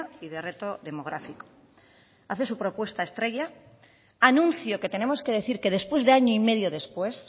y de reto demográfico hace su propuesta estrella anuncio que tenemos que decir que después de año y medio después